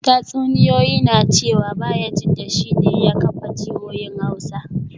Tatsuniyoyi na cewa Bayajidda shi ne ya kafa jihohin Hausa